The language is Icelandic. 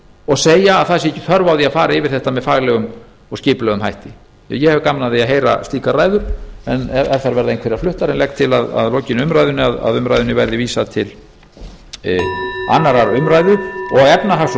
og segja að það sé ekki þörf á því að fara yfir þetta með faglegum og skipulegum hætti ég hefði gaman af að heyra slíkar ræður ef þær verða einhverjar fluttar en ég legg til að lokinni umræðunni að umræðunni verði vísað til annarrar umræðu og efnahags og